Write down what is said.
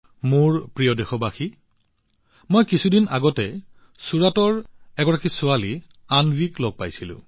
মোৰ মৰমৰ দেশবাসীসকল মই কিছুদিন আগতে চুৰাটৰ এজনী ছোৱালী অন্বীক লগ পাইছিলো